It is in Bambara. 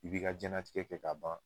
I bi ka jɛnnatigɛ kɛ ka ban